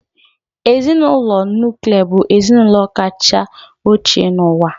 Ezinụlọ nuklia bụ ezinụlọ kacha ochie n'ụwa.